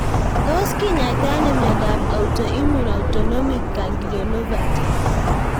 Tos kinyaita ano miondop autoimmune autonomic ganglionopathy?